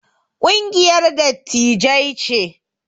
Kungiyar dattijai ce